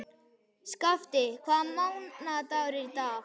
Skafti, hvaða mánaðardagur er í dag?